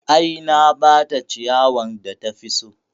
I, na bata ciyawan da tafi so